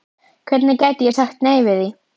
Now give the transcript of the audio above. Hvernig gæti ég sagt nei við því?